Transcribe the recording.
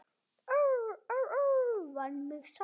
Vann mig samt.